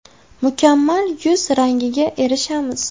Mukammal yuz rangiga erishamiz.